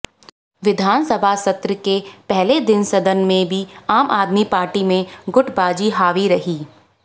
विधानसभा सत्र के पहले दिन सदन में भी आम आदमी पार्टी में गुटबाजी हावी रही